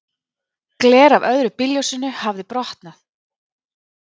Gler af öðru bílljósinu hafði brotnað.